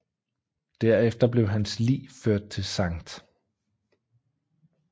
Derefter blev hans lig ført til St